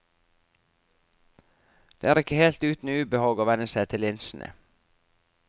For det er ikke helt uten ubehag å venne seg til linsene.